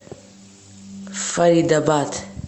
фаридабад